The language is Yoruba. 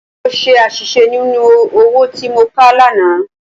Mo ṣe àṣìṣe nínú owó tí mo kà lánàá.